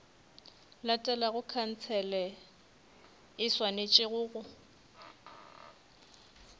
latelago khansele e swanetše go